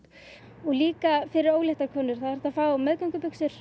og líka fyrir óléttar konur það er hægt að fá